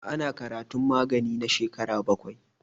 Ana karatun magani na shekaru baƙwai.